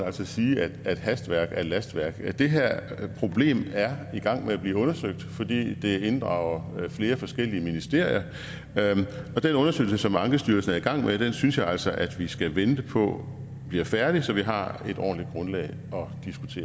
sige at hastværk er lastværk det her problem er i gang med at blive undersøgt fordi det inddrager flere forskellige ministerier og den undersøgelse som ankestyrelsen er i gang med synes jeg altså at vi skal vente på bliver færdig så vi har et ordentligt grundlag